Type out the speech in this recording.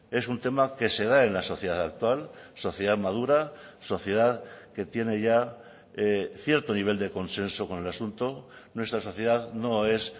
es un tema que se da en la sociedad actual sociedad madura sociedad que tiene ya cierto nivel de consenso con el asunto nuestra sociedad no es